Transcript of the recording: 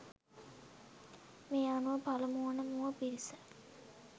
මේ අනුව පළමු වන මුව පිරිස